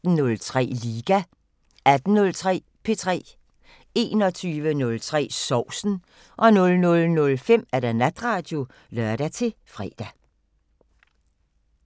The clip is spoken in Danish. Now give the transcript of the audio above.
15:03: Liga 18:03: P3 21:03: Sovsen 00:05: Natradio (lør-fre)